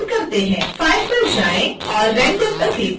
file पर जाएँ और render पर क्लिक करें